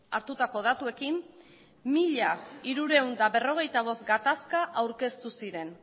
hartutako datuekin mila hirurehun eta berrogeita bost gatazka aurkeztu ziren